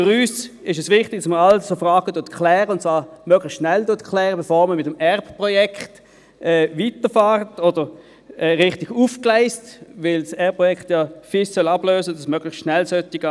Für uns ist es wichtig, dass man alle solchen Fragen klärt, und zwar möglichst schnell, bevor man mit dem Entreprise-Resource-Planning(-ERP)-Projekt weiterfährt oder es richtig aufgleist, weil das ERPProjekt ja das FIS ablösen soll und das möglichst schnell gehen sollte.